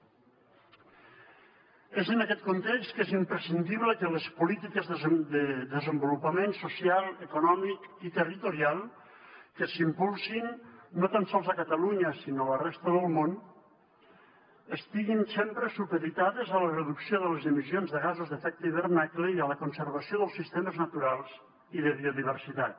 és en aquest context que és imprescindible que les polítiques de desenvolupament social econòmic i territorial que s’impulsin no tan sols a catalunya sinó a la resta del món estiguin sempre supeditades a la reducció de les emissions de gasos amb efecte d’hivernacle i a la conservació dels sistemes naturals i de biodiversitat